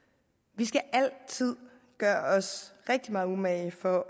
vi skal altid gøre os rigtig meget umage for